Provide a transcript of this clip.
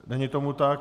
Není tomu tak.